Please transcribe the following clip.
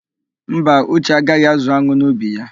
Mba, Uche agaghị ázụ̀ an̄ụ n'ubi ya.